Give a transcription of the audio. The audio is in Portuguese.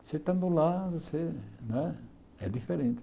Você estando lá você né, é diferente.